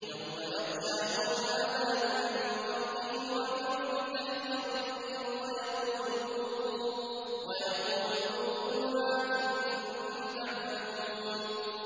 يَوْمَ يَغْشَاهُمُ الْعَذَابُ مِن فَوْقِهِمْ وَمِن تَحْتِ أَرْجُلِهِمْ وَيَقُولُ ذُوقُوا مَا كُنتُمْ تَعْمَلُونَ